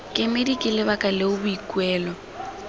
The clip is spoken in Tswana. kemedi ke lebaka leo boikuelo